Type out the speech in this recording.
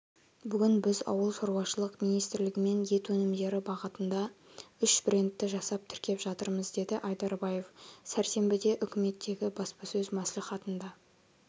бүгін біз ауыл шаруашылық министрлігімен ет өнімдері бағатында үш брендті жасап тіркеп жатырмыз деді айдарбаев сәрсенбіде үкіметтегі баспасөз мәслихатында